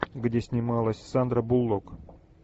где снималась сандра буллок